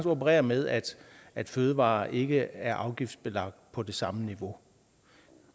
operere med at at fødevarer ikke er afgiftsbelagt på det samme niveau